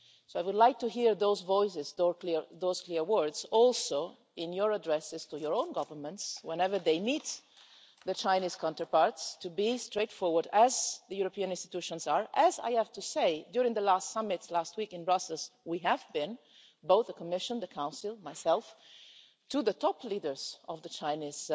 So I would like to hear those voices, those clear words also, in your addresses to your own governments whenever they meet their Chinese counterparts, to be straightforward as the European institutions are as, I have to say, during the last summit last week in Brussels, we have been, both the Commission, the Council, myself to the top leaders of the Chinese